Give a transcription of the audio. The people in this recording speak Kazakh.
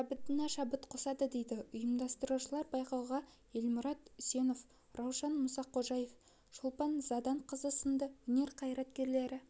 шабытына шабыт қосады дейді ұйымдастырушылар байқауға елмұрат үсенов раушан мұсақожаева шолпан заданқызы сынды өнер қайраткерлері